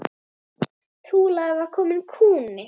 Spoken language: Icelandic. Trúlega var kominn kúnni.